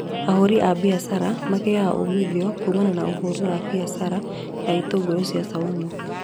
Ahũri a mbiacara magĩaga umuthio kumana na ũhũri wa mbiacara ya itũngũrũ cia caumu